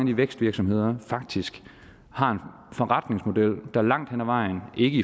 de vækstvirksomheder faktisk har en forretningsmodel der langt hen ad vejen ikke